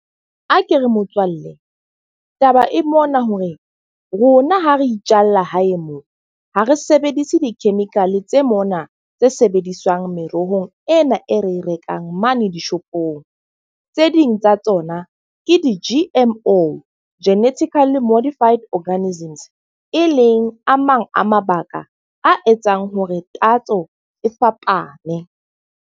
A ke re motswalle taba e mona hore rona ha re itjalla hae moo. Ha re sebedise di-chemical tse mona tse sebediswang merohong ena e re e rekang mane dishopong. Tse ding tsa tsona ke di-G_M_O, genetically modified organisms. E leng a mang a mabaka a etsang hore tatso e fapane.